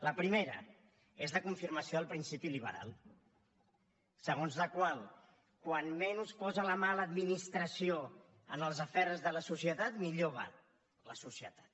la primera és la confirmació del principi liberal segons la qual com menys posa la mà l’administració en els afers de la societat millor va la societat